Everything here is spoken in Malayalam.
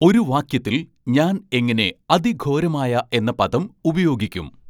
ഒരു വാക്യത്തിൽ ഞാൻ എങ്ങനെ അതിഘോരമായ എന്ന പദം ഉപയോഗിക്കും